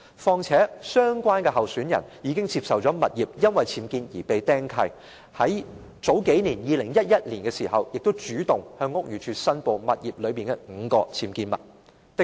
況且，相關候選人的物業已由於僭建而被"釘契"，在2011年，他亦主動向屋宇署申報物業內的5項僭建物。